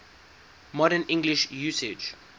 modern english usage